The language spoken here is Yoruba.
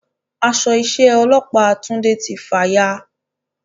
Aṣọ iṣẹ́ ọlópàá Tunde tí fàya